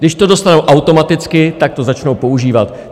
Když to dostanou automaticky, tak to začnou používat.